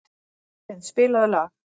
Berglind, spilaðu lag.